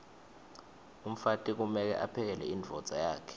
umfati kumeke aphekele imdvodza yakhe